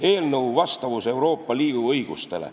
" Eelnõu vastavus Euroopa Liidu õigusele.